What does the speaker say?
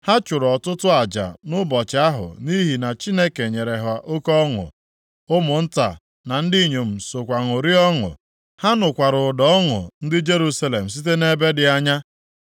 Ha chụrụ ọtụtụ aja nʼụbọchị ahụ nʼihi na Chineke nyere ha oke ọṅụ. Ụmụnta na ndị inyom sokwa ṅụrịa ọṅụ. Ha nụkwara ụda ọṅụ ndị Jerusalem site nʼebe dị anya.